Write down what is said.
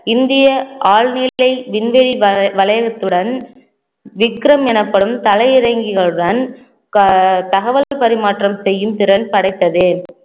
இந்திய ஆழ்வியலை விண்வெளி வ~ வளையத்துடன் விக்ரம் எனப்படும் தலை இறங்கிகளுடன் க~ தகவல் பரிமாற்றம் செய்யும் திறன் படைத்தது